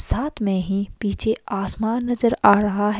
साथ में ही पीछे आसमान नजर आ रहा है।